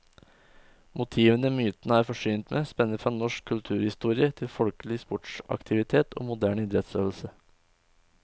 Motivene myntene er forsynt med, spenner fra norsk kulturhistorie til folkelig sportsaktivitet og moderne idrettsøvelse.